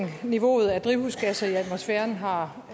niveauet af drivhusgasser i atmosfæren har